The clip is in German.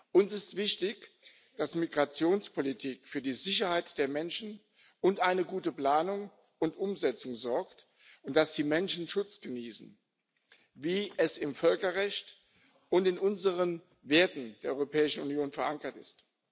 Uns ist wichtig, dass Migrationspolitik für die Sicherheit der Menschen und eine gute Planung und Umsetzung sorgt und dass die Menschen Schutz genießen, wie es im Völkerrecht und in unseren Werten der Europäischen Union verankert ist.